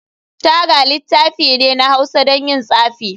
Thger littafi ne na hausa don yin tsafi.